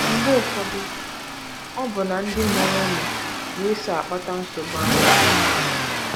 Mgbe ụfọdụ, ọbụna ndị mụrụ ụmụ na - eso akpata nsogbu ahụ.